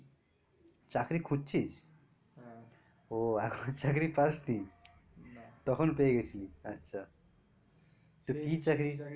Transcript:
চাকরি খুঁজছিস? হ্যাঁ। ও এখনো চাকরি পাসনি, না। তখন পেয়ে গিয়েছিলি আচ্ছা, কি চাকরি